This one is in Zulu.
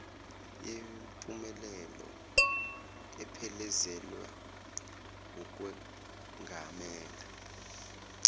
yempumelelo ephelezelwa wukwengamela